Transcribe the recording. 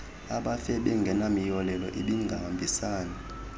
abafe bengenamiyolelo ibingahambisani